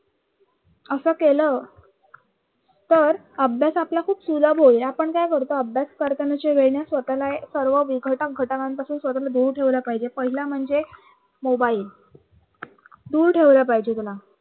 असं केलं तर अभ्यास आपला खूप सुलभ होईल. आपण काय करतो अभ्यास करताना जे वेळे ना स्वतःला सर्व विघटक घटनांपासून स्वतःला दूर ठेवला पाहिजे. पहिला म्हणजे mobile दूर ठेवला पाहिजे त्याला